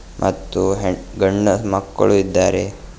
ಹತ್ತು ಹೆ ಗಂಡ ಮಕ್ಕಳು ಇದ್ದಾರೆ.